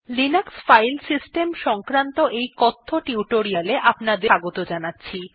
Linux file system সংক্রান্ত এই কথ্য টিউটোরিয়ালটিতে স্বাগত জানাচ্ছি